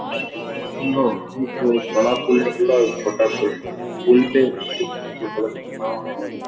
लो इ तो बड़ा पुल निकला छोटा पुल निकला। पूल पे --